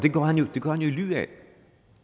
det gør han i ly af